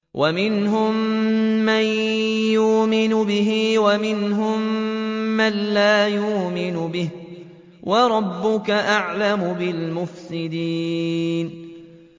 وَمِنْهُم مَّن يُؤْمِنُ بِهِ وَمِنْهُم مَّن لَّا يُؤْمِنُ بِهِ ۚ وَرَبُّكَ أَعْلَمُ بِالْمُفْسِدِينَ